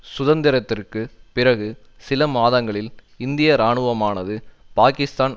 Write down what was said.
சுதந்திரத்திற்கு பிறகு சில மாதங்களில் இந்திய இராணுவமானது பாக்கிஸ்தான்